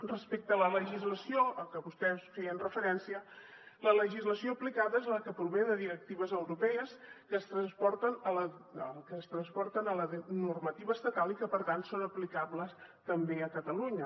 respecte a la legislació a què vostès feien referència la legislació aplicada és la que prové de directives europees que ens transposen a la normativa estatal i que per tant són aplicables també a catalunya